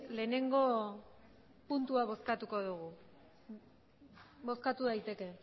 lehenengo puntua bozkatuko dugu bozkatu daiteke